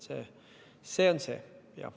Signe Riisalo, palun!